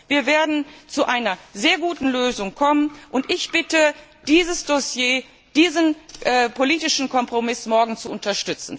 wird. Wir werden zu einer sehr guten Lösung kommen, und ich bitte, dieses Dossier, diesen politischen Kompromiss morgen zu unterstützen.